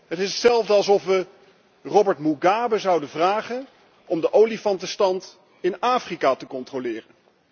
Het is hetzelfde alsof we Robert Mugabe zouden vragen om de olifantenstand in Afrika te controleren.